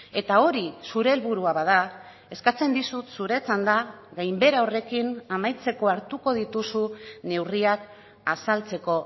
eta hori zure helburua bada eskatzen dizut zure txanda gainbehera horrekin amaitzeko hartuko dituzun neurriak azaltzeko